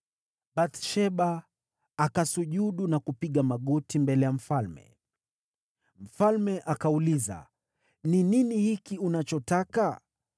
Bathsheba akasujudu na kupiga magoti mbele ya mfalme. Mfalme akauliza, “Ni nini hiki unachotaka?”